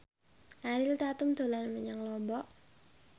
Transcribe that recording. Ariel Tatum dolan menyang Lombok